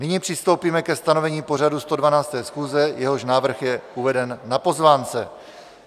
Nyní přistoupíme ke stanovení pořadu 112. schůze, jehož návrh je uveden na pozvánce.